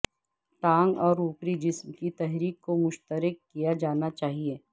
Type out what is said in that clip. ٹانگ اور اوپری جسم کی تحریک کو مشترکہ کیا جانا چاہئے